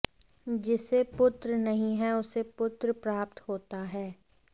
जिसे पुत्र नहीं है उसे पुत्र प्राप्त होता है